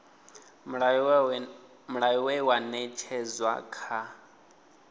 mulayo we wa ṅetshedzwa kha